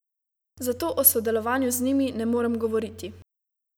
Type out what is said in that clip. Zato o sodelovanju z njimi ne morem govoriti.